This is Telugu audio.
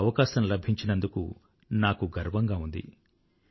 ఆ అవకాశం లభించినందుకు నాకు గర్వంగా ఉంది